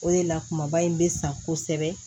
O de la kumaba in bɛ san kosɛbɛ